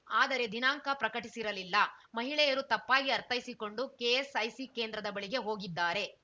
ಆದರೆ ದಿನಾಂಕ ಪ್ರಕಟಿಸಿರಲಿಲ್ಲ ಮಹಿಳೆಯರು ತಪ್ಪಾಗಿ ಅರ್ಥೈಸಿಕೊಂಡು ಕೆಎಸ್‌ಐಸಿ ಕೇಂದ್ರದ ಬಳಿಗೆ ಹೋಗಿದ್ದಾರೆ